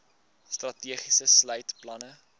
strategie sluit planne